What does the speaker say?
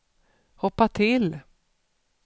hoppa till